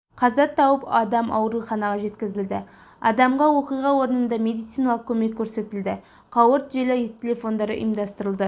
қаза тауып адам ауруханаға жеткізілді адамға оқиға орнында медициналық көмек көрсетілді қауырт желі телефондары ұйымдастырылды